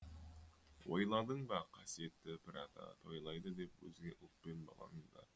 ойладың ба қасиетті пір ата тойлайды деп өзге ұлт пен балаң да